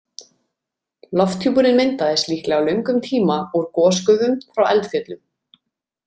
Lofthjúpurinn myndaðist líklega á löngum tíma úr gosgufum frá eldfjöllum.